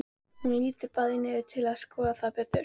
Þau lúta bæði niður til að skoða það betur.